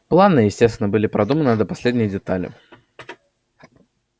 планы естественно были продуманы до последней детали